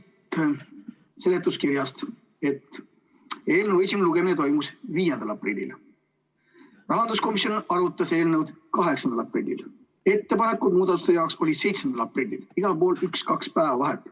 Loeme seletuskirjast, et eelnõu esimene lugemine toimus 5. aprillil, rahanduskomisjon arutas eelnõu 8. aprillil, muudatusettepanekute tähtaeg oli 7. aprillil, igal pool oli üks-kaks päeva vahet.